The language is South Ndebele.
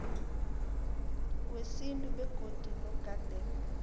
wesintu begodu nogade